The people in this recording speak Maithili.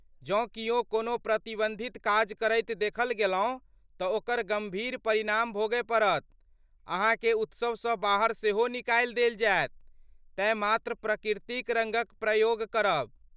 जँ कियो कोनो प्रतिबन्धित काज करैत देखल गेलहुँ तँ ओकर गम्भीर परिणाम भोगय पड़त, अहाँकेँ उत्सवसँ बाहर सेहो निकालि देल जायत, तेँ मात्र प्रकृतिक रङ्गक प्रयोग करब!